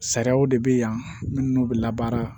Sariyaw de bɛ yan minnu bɛ labaara